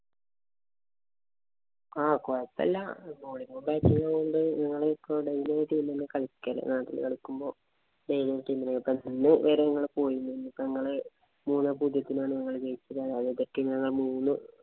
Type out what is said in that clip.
ആ കൊഴപ്പില്ല